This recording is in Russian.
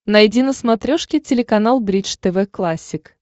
найди на смотрешке телеканал бридж тв классик